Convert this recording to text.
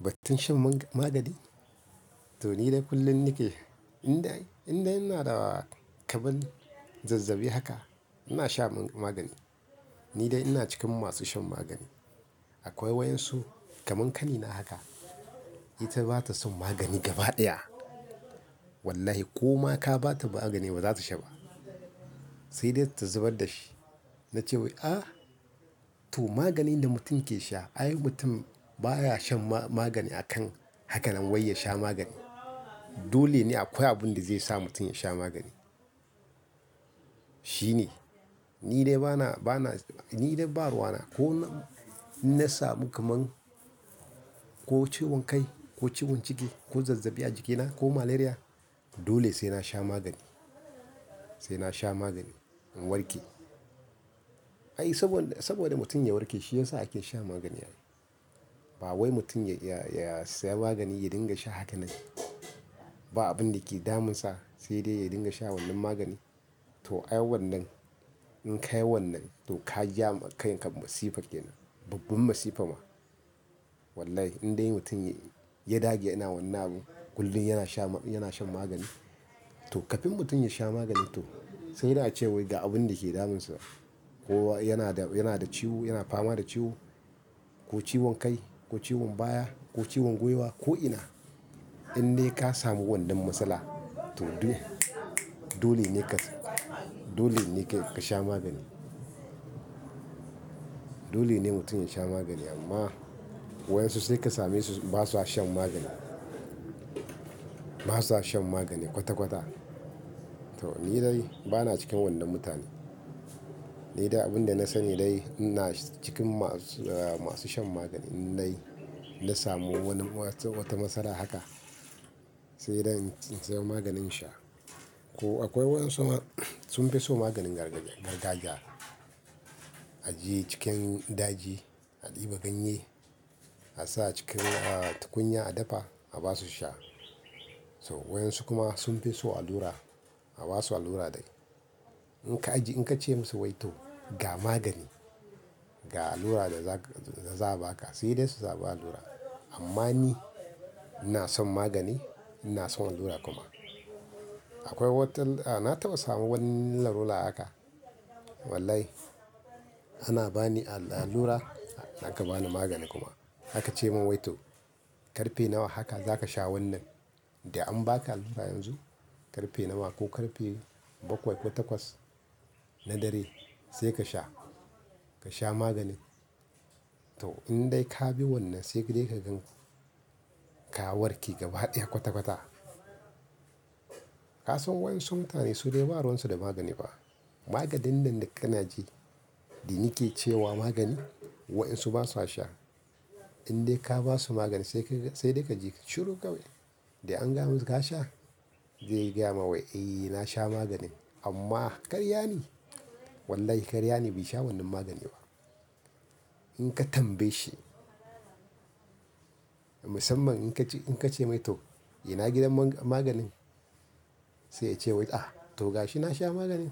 Batin shan ma-magani? To ni dai kullum nike, in dai, in dai ina da kaman zazzabi haka, ina sha magani. Ni dai ina cikin masu shan magani. Akwai wayan su kamar kanina haka, ita bata son magani gaba ɗaya. Wallahi ko ma ka ba ta magani, ba za ta sha ba. Sai dai ta zubar da shi. Na ce wai "ah, to magani da mutum ke sha, ai mutum baya shan ma-magani akan haka nan wai ya sha magani. Dole ne akwai abin da zai sa mutum ya sha magani. Shi ne. Ni dai bana, bana ni dai baruwa na. Ko na, na samu kamar, ko ciwon kai, ko ciwon ciki, ko zazzabi a jikina, ko malaria, dole sai na sha magani, sai na sha magani in warke. Ai saboda, saboda mutum ya warke shi ya sa ake sha magani. Ba wai mutum ya, ya, ya saya magani ya dinga sha haka nan ba abin da ke damunsa sai dai ya dinga sha wannan magani. To ai wannan, in ka yi wannan to ka ja kai ka masifa kenan, babban masifa ma. Wallahi in dai mutum ya, ya dage yana wannan abu kullum yana sha, yana shan magani. To kafin mutum ya sha magani to sai na ce wai ga abin da ke damunsa. Ko yana da, yana da ciwo, yana fama da ciwo, ko ciwon kai, ko ciwon baya, ko ciwon gwuiwa, ko ina. In dai ka samu wannan matsala, to dole, dole ne ka, dole ne ka sha magani. Dole ne mutum ya sha magani amma wayan su sai ka same su ba su a shan magani. Ba su a shan magani kwata-kwata. To ni dai bana cikin wannan mutane. Ni dai abin da na sani dai ina cikin masu, masu shan magani. In dai na samu wannan wata, wata matsala haka, sai dai in siya maganin sha. Ko akwai wayan su ma sun fi so maganin gargajiya. Ajiye cikin daji, a ɗiba ganye, a sa cikin, tukunya a dafa a ba su sha. To wayan su kuma sun fi so allura, a ba su allura dai. In ka ajiye, in ka ce musu wai to "ga magani, ga allura da za ku, da za a ba ka" sai dai su zaɓi allura. Amma ni ina son magani, ina son allura kuma. Akwai wata, na taba samu wannan rula haka. Wallahi ana ba ni allura, ana ka ba ni magani kuma. Aka ce min wai to "karfe nawa haka za ka sha wannan da an ba ka allura yanzu. Karfe nawa ko karfe bakwai ko takwas na dare sai ka sha, ka sha magani." To in dai ka bi wannan sai dai ka gan ka warke gaba ɗaya kwata-kwata. Ka san wayan su mutane su dai ba ruwan su da magani fa Maganin nan da kana ji da nike ce wa magani wayan su ba su a sha. In dai ka ba su magani sai kai, sai dai ka je ka ciro kawai. "Dai an gamu ka sha?" Zai gaya ma wai "eh na sha maganin amma karya ne. Wallahi karya ne bai sha wannan magani ba." In ka tambaye shi. Musamman in ka ce, in ka ce mai to "ina gidan man-maganin?" Sai ya ce wai "ah to ga shi na sha maganin."